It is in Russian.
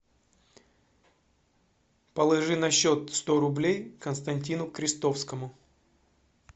положи на счет сто рублей константину крестовскому